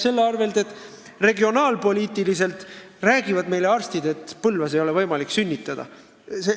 See käib selle arvel, et arstid räägivad, et Põlvas ei ole võimalik sünnitada.